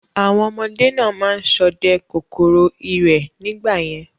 Àwọn ọmọdé náà ma ń sọdẹ kòkòrò ìrẹ̀ nígbà yẹn